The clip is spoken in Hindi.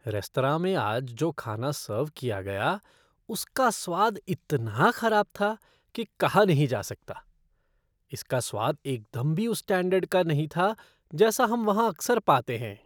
रेस्तरां में आज जो खाना सर्व किया गया उसका स्वाद इतना खराब था कि कहा नहीं जा सकता। इसका स्वाद एकदम भी उस स्टैंडर्ड का नहीं था जैसा हम वहाँ अक्सर पाते हैं।